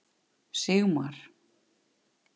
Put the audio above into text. Sigmar